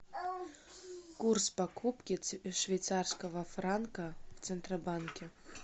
курс покупки швейцарского франка в центробанке